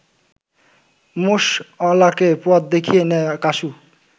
মোষঅলাকে পথ দেখিয়ে নেয় কাসু